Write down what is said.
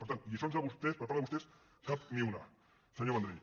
per tant lliçons per part de vostès cap ni una senyor vendrell